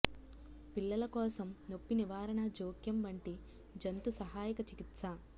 పిల్లల కోసం నొప్పి నివారణ జోక్యం వంటి జంతు సహాయక చికిత్స